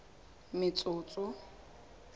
metsotso